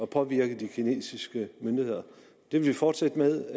påvirke de kinesiske myndigheder det vil vi fortsætte med